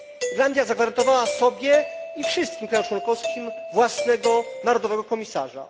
Irlandia zagwarantowała sobie i wszystkim krajom członkowskim własnego, narodowego komisarza.